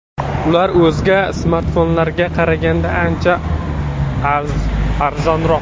Ular o‘zga smartfonlarga qaraganda ancha arzonroq.